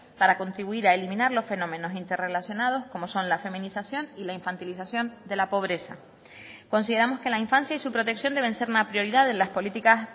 para contribuir a eliminar los fenómenos interrelacionados como son la feminización y la infantilización de la pobreza consideramos que la infancia y su protección deben ser una prioridad de las políticas